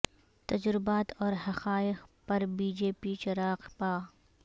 تجربات اور حقائق پر بی جے پی چراغ پا